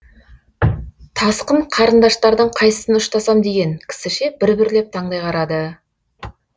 тасқын қарындаштардың қайсысын ұштасам деген кісіше бір бірлеп таңдай қарады